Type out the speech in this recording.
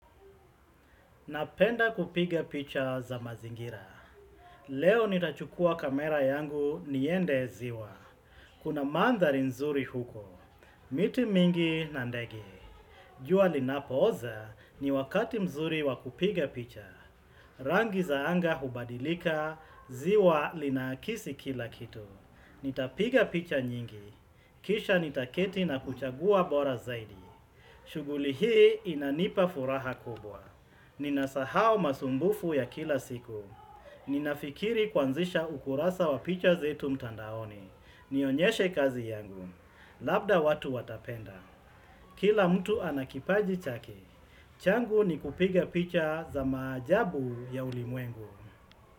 Napenda kupiga picha za mazingira. Leo nitachukua kamera yangu niende ziwa. Kuna mandhari nzuri huko. Miti mingi na ndege. Jua linapooza ni wakati mzuri wa kupiga picha. Rangi za anga hubadilika, ziwa linakisi kila kitu. Nitapiga picha nyingi. Kisha nitaketi na kuchagua bora zaidi. Shuguli hii inanipa furaha kubwa. Nina sahau masumbufu ya kila siku. Ninafikiri kuanzisha ukurasa wa picha zetu mtandaoni. Nionyeshe kazi yangu. Labda watu watapenda. Kila mtu ana kipaji chake. Changu ni kupiga picha za maajabu ya ulimwengu.